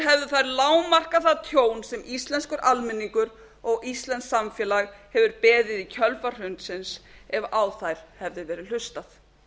hefðu þær lágmarkað það tjón sem íslenskur almenningur og íslenskt samfélag hefur beðið í kjölfar hrunsins ef á þær hefði verið hlustað